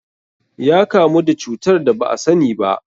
Ya kamu da cutar da ba asani ba.